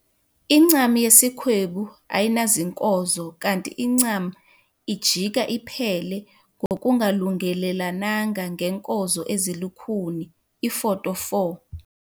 Incam yesikhwebu ayinazinkozo kanti incam ijika iphele ngokungalungelelananga ngeenkozo ezilukhuni, iFoto 4.